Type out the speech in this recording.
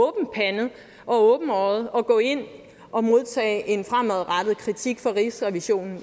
åbne øjne til at gå ind og modtage en fremadrettet kritik fra rigsrevisionen